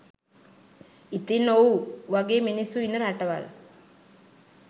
ඉතින් ඔව් වගේ මිනිස්සු ඉන්න රටවල්